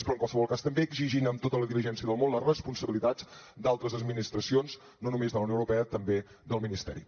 però en qualsevol cas també exigint amb tota la diligència del món les responsabilitats d’altres administracions no només de la unió europea també del ministeri